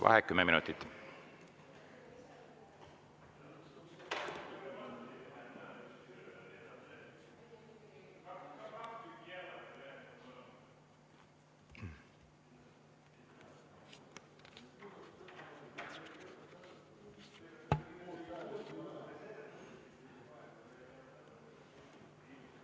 Vaheaeg 10 minutit.